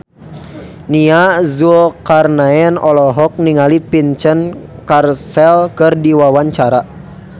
Nia Zulkarnaen olohok ningali Vincent Cassel keur diwawancara